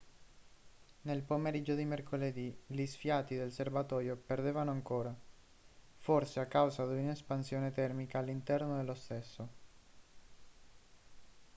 nel pomeriggio di mercoledì gli sfiati del serbatoio perdevano ancora forse a causa di un'espansione termica all'interno dello stesso